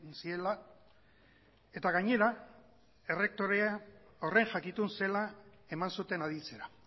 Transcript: ziela eta gainera errektorea horren jakitun zela eman zuten aditzera